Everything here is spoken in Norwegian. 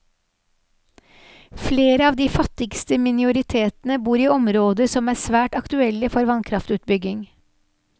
Flere av de fattigste minoritetene bor i områder som er svært aktuelle for vannkraftutbygging.